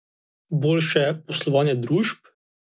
Boljše poslovanje družb?